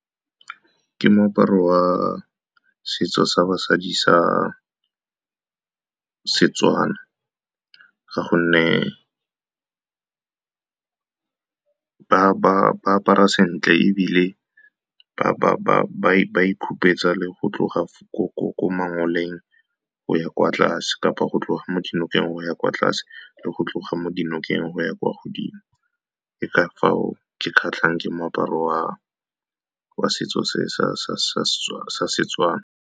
Ke moaparo wa setso sa basadi sa seTswana ka gonne ba apara sentle, ebile ba ikhupetsa le go tloga ko mangoleng go ya kwa tlase, kapa go tloga mo dinokeng go ya kwa tlase, le go tloga mo dinokeng go ya kwa godimo. Ka fao ke kgatlhang ke moaparo wa setso se sa seTswana.